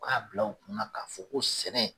K'a bila u kun na k'a fɔ ko sɛnɛ